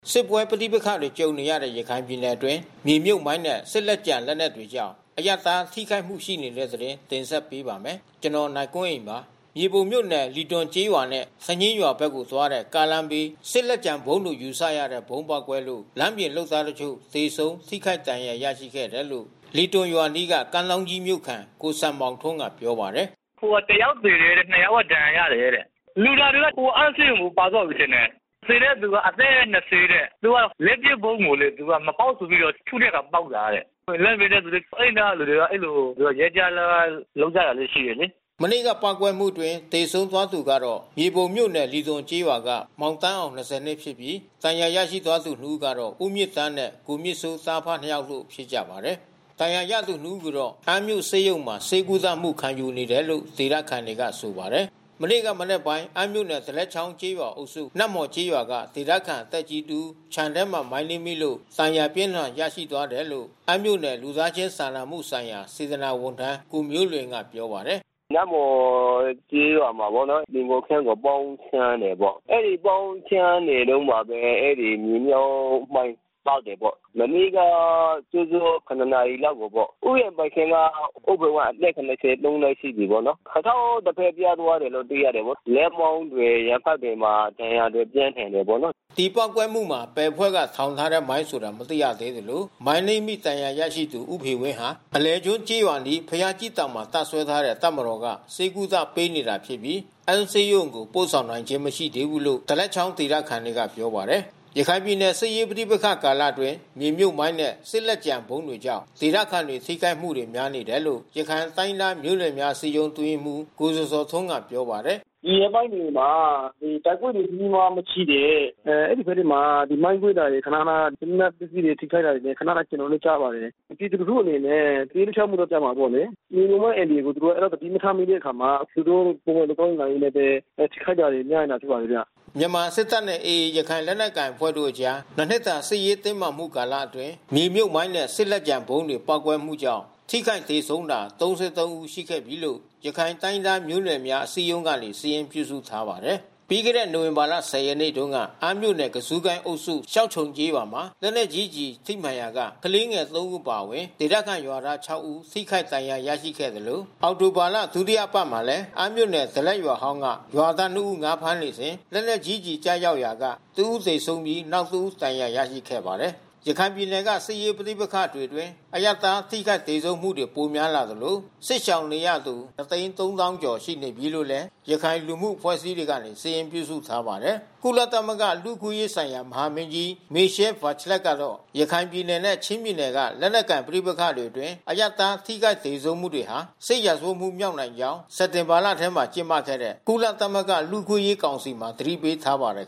စစ်ပွဲပဋိပက္ခတွေ ကြုံနေရတဲ့ ရခိုင်ပြည်နယ်တွင်း မြေမြှုပ်မိုင်းနဲ့ စစ်လက်ကျန်လက်နက်တွေကြောင့် အရပ်သားထိခိုက်မှုတွေ ရှိနေပါတယ်။ အပြည့်အစုံကို နိုင်ကွန်းအိန် စုစည်းတင်ပြထားပါတယ်။ မြေပုံမြို့နယ် လီသွန်ကျေးရွာနဲ့ စညင်းရွာဘက်ကိုသွားတဲ့ ကားလမ်းဘေး စစ်လက်ကျန်ဗုံးလို့ ယူဆရတဲ့ ဗုံးပေါက်ကွဲလို့ လမ်းပြင်လုပ်သားတချို့ သေဆုံး ထိခိုက်ဒဏ်ရာ ရရှိခဲ့တယ်လို့ လီသွန်ရွာအနီး ကမ်းထောင်းကြီးမြို့ခံ ကိုစံမောင်ထွန်းက ပြောပါတယ်။ “တယောက်သေတယ်၊ နှစ်ယောက်က ဒဏ်ရာရတယ်တဲ့။ လူနာတွေတော့ အမ်းဆေးရုံကို ပါသွားပြီထင်တယ်။ သေတဲ့သူက အသက် ၂၀ တဲ့။ လက်ပစ်ဗုံးကို သူကမပေါက်ဆိုပြီးတော့ ထုတဲ့အခါ ပေါက်တာတဲ့။ လမ်းပြင်တဲ့သူတွေ။ အဲဒီနားကသူတွေ အဲဒီလိုရွက်ကျ အလုပ်လုပ်ကြတာ ရှိတယ်လေ။” မနေ့ကပေါက်ကွဲမှုအတွင်း သေဆုံးသွားသူကတော့ မြေပုံမြို့နယ်၊ လီသွန်ကျေးရွာက မောင်သန်းအောင် ၂ဝ နှစ်ဖြစ်ပြီး ဒဏ်ရာရရှိသွားသူ ၂ ဦးကတော့ ဦးမြင့်သန်းနဲ့ ကိုမြင့်စိုး သားအဖနှစ်ယောက်တို့ ဖြစ်ကြပါတယ်။ ဒဏ်ရာရသူနှစ်ဦးကိုတော့ အမ်းမြို့ဆေးရုံမှာ ဆေးကုသမှု ခံယူနေတယ်လို့ ဒေသခံတွေက ဆိုပါတယ်။ မနေ့ကမနက်ပိုင်း အမ်းမြို့နယ် ဒလက်ချောင်းကျေးရွာအုပ်စု နတ်မော်ကျေးရွာက ဒေသခံသက်ကြီးတဦး ခြံထဲမှာ မိုင်းနင်းမိလို့ ဒဏ်ရာအပြင်းအထန် ရရှိသွားတယ်လို့ အမ်းမြို့နယ် လူသားချင်းစာနာမှုဆိုင်ရာ စေတနာ့ဝန်ထမ်း ကိုမျိုးလွင်က ပြောပါတယ်။ “နတ်မှော်ကျေးရွာမှာပေါ့နော်။ သီဟိုခြံကို ပေါင်းရှင်းတာပေါ့။ အဲဒီပေါင်းရှင်းနေတုန်းမှာပဲ အဲဒီမြေမြှုပ်မိုင်း ပေါက်တယ်ပေါ့။ မနေ့ကစောစော ၇ နာရီလောက်ကိုပေါ့။ ဥယျာဉ်ပိုင်ရှင်က ဦးဖေဝင်း အသက် ၇၃ နှစ်ရှိပြီပေါ့။ ခြေထောက်တဖက် ပြတ်သွားတယ်လို့တော့ သိရတယ်။ လက်မောင်းတွေ ရင်ဘတ်တွေမှာ ဒဏ်ရာပြင်းထန်တယ်ပေါ့နော်။” ဒီပေါက်ကွဲမှုမှာ ဘယ်အဖွဲ့ထောင်ထားတဲ့မိုင်းဆိုတာ မသိရသေးသလို မိုင်းနင်းမိ ဒဏ်ရာရရှိသူ ဦးဖေဝင်းဟာ အလယ်ကျွန်းကျေးရွာအနီး ဘုရားကြီးတောင်မှာ တပ်စွဲထားတဲ့ တပ်မတော်က ဆေးကုသပေးနေတာဖြစ်ပြီး အမ်းဆေးရုံကို ပို့ဆောင်နိုင်ခြင်း မရှိသေးဘူးလို့ ဒလက်ချောင်းဒေသခံတွေက ပြောပါတယ်။ ရခိုင်ပြည်နယ် စစ်ရေးပဋိပက္ခ ကာလအတွင်း မြေမြှုပ်မိုင်းနဲ့ စစ်လက်ကျန်ဗုံးတွေကြောင့် ဒေသခံတွေ ထိခိုက်မှုတွေ များနေတယ်လို့ ရခိုင်တိုင်းရင်းသားမျိုးနွယ်များ အစည်းအရုံး အတွင်းရေးမှူး ကိုဇော်ဇော်ထွန်းက ပြောပါတယ်။ “ဒီရက်ပိုင်းတွေမှာ တိုက်ပွဲတွေ ကြီးကြီးမားမားမရှိတဲ့ အဲဒီဘက်တွေမှာ မိုင်းကွဲတာတွေ ခနခန စစ်လက်နက်ပစ္စည်း ထိခိုက်တာတွေ ခနခန ကျွန်တော်တို့ ကြားပါတယ်။ ပြည်သူလူထုအနေနဲ့ ပဋိပက္ခကြားမှာပေါ့လေ။ မြေမြှုပ်မိုင်းအန္တရာယ်ကို သူတို့ သတိမထားမိတဲ့အခါမှာ သူတို့ ပုံမှန်သွားရင်းလာရင်းနဲ့ပဲ ထိခိုက်တာတွေများတာ တွေ့ပါတယ်ဗျ။” မြန်မာစစ်တပ်နဲ့ AA ရခိုင်လက်နက်ကိုင်အဖွဲ့တို့အကြား ၂ နှစ်တာ စစ်ရေးတင်းမာမှု ကာလအတွင်း မြေမြှုပ်မိုင်းနဲ့ စစ်လက်ကျန်ဗုံးတွေ ပေါက်ကွဲမှုကြောင့် ထိခိုက်သေဆုံးတာ ၃၃ ဦးရှိနေပြီလို့ ရခိုင်တိုင်းရင်းသားမျိုးနွယ်များ အစည်းအရုံးကနေ စာရင်းပြုစုထားပါတယ်။ ပြီးခဲ့တဲ့ နိုဝင်ဘာ ၁၀ ရက်နေ့တုန်းက အမ်းမြို့နယ် ကဇုကိုင်းအုပ်စု၊ ရှောက်ခြုံကျေးရွာမှာ လက်နက်ကြီးကျည် ထိမှန်ရာက ကလေးငယ် ၃ ဦး အပါအဝင် ဒေသခံရွာသား ၆ ဦး ထိခိုက်ဒဏ်ရာရခဲ့သလို အောက်တိုဘာလ ဒုတိယအပတ်မှာလည်း အမ်းမြို့နယ် ဒလက်ရွာဟောင်းက ရွာသား ၂ ဦး ငါးဖမ်းနေစဉ် လက်နက်ကြီးကျည် ကျရောက်ရာက တဦးသေဆုံးပြီး နောက်တဦး ဒဏ်ရာရရှိခဲ့ပါတယ်။ ရခိုင်ပြည်နယ်က စစ်ရေးပဋိပက္ခတွေအတွင်း အရပ်သား ထိခိုက်သေဆုံးမှုတွေ ပိုများလာသလို စစ်ရှောင်နေရသူ ၂၃၀,၀၀၀ ကျော် ရှိနေပြီလို့လည်း ရခိုင်လူမှုအဖွဲ့အစည်းတွေက စာရင်းပြုစုထားပါတယ်။ ကုလသမဂ္ဂ လူ့အခွင့်အရေးဆိုင်ရာ မဟာမင်းကြီး Michelle Bachelet ကတော့ ရခိုင်ပြည်နယ်နဲ့ ချင်းပြည်နယ်တွေက လက်နက်ကိုင် ပဋိပက္ခတွေအတွင်း အရပ်သား ထိခိုက်သေဆုံးမှုတွေဟာ စစ်ရာဇဝတ်မှုမြောက်နိုင်ကြောင်း စက်တင်ဘာလထဲ ကျင်းပခဲ့တဲ့ ကုလသမဂ္ဂ လူ့အခွင့်အရေးကောင်စီမှာ သတိပေးထားပါတယ်